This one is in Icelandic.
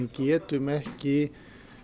getum ekki